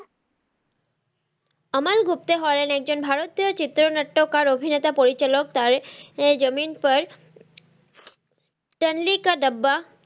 আমান গুপ্তা হলেন একজন ভারতীয় চিত্র নাট্যকার অভিনেতা পরিচালক তারে জামিন পার স্ট্যানলি কা ডাব্বা,